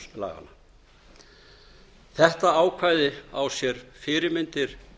landsdómlaga þetta ákvæði á sér fyrirmyndir